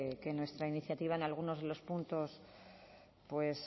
que nuestra iniciativa en algunos de los puntos